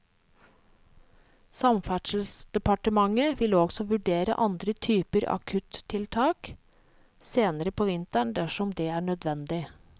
Samferdselsdepartementet vil også vurdere andre typer akuttiltak senere på vinteren dersom det er nødvendig.